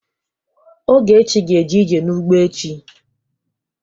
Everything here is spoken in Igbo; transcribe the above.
Ogechi ga-eje ije n'ugbo echi.